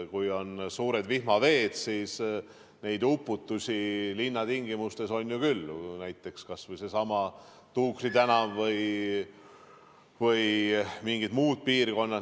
Kui on suured vihmaveed, siis neid uputusi linnatingimustes on ju küll, näiteks kas või seesama Tuukri tänav või mingid muud piirkonnad.